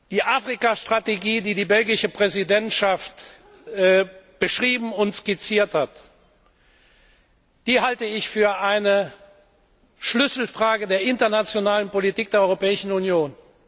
Die Afrika Strategie, die die belgische Präsidentschaft beschrieben und skizziert hat, halte ich für eine Schlüsselfrage der internationalen Politik der Europäischen Union.